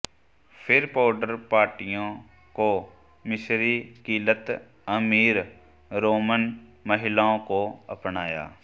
फिर पाउडर पार्टियों को मिस्र की लत अमीर रोमन महिलाओं को अपनाया